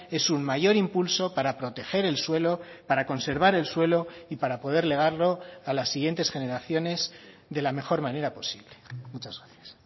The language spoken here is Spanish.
es un mayor impulso para proteger el suelo para conservar el suelo y para poder legarlo a las siguientes generaciones de la mejor manera posible muchas gracias